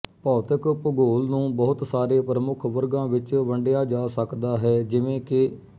ਭੌਤਿਕ ਭੂਗੋਲ ਨੂੰ ਬਹੁਤ ਸਾਰੇ ਪ੍ਰਮੁੱਖ ਵਰਗਾਂ ਵਿੱਚ ਵੰਡਿਆ ਜਾ ਸਕਦਾ ਹੈ ਜਿਵੇਂ ਕਿ